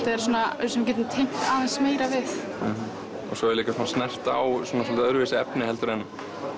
er svona sem við getum tengt aðeins meira við svo er líka snert á soldið öðru vísi efni heldur en